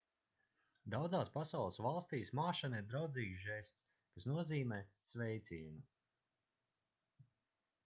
daudzās pasaules valstīs māšana ir draudzīgs žests kas nozīmē sveicienu